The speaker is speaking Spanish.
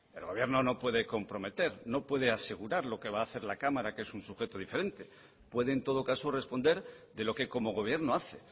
el gobierno no puede comprometer no puede asegurar lo que va a hacer la cámara que es un sujeto diferente puede en todo caso responder de lo que como gobierno hace